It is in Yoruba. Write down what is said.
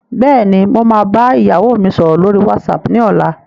Bẹ́ẹ̀ni, mo máa bá ìyàwó mi sọ̀rọ̀ lórí whatsapp ni ọ̀la.